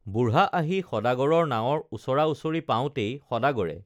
বুঢ়া আহি সদাগৰৰ নাৱৰ ওচৰা ওচৰি পাওঁতেই সদাগৰে